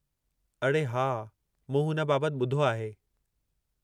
अड़े हा मूं हुन बाबति ॿुधो आहे।